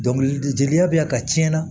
Dɔnkili jeliya bɛ yan ka cɛn na